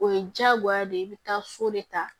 O ye diyagoya de ye i bɛ taa so de ta